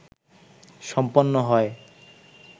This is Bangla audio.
সম্পন্ন হয়